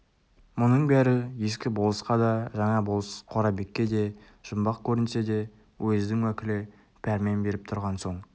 мұның бәрі ескі болысқа да жаңа болыс қорабекке де жұмбақ көрінсе де уездің уәкілі пәрмен беріп тұрған соң